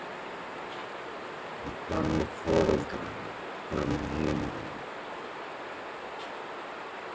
Og hvað með foreldrana og hvað með heimilin?